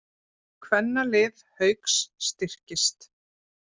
Kvennalið Hauka styrkist